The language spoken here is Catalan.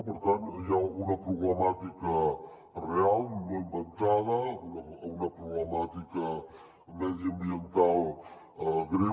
per tant hi ha una problemàtica real no inventada una problemàtica mediambiental greu